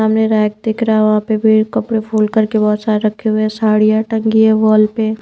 सामने रैक दिख रहा है वहां पे भी कपड़े फोल्ड करके बहुत सारे रखे हुए हैं साड़ियां टंगी है वॉल पे--